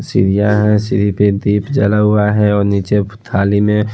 सीढ़ियां है सीधी पे दीप जला हुआ है और नीचे थाली में--